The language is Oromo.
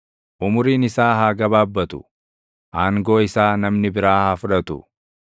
Umuriin isaa haa gabaabbatu, aangoo isaa namni biraa haa fudhatu.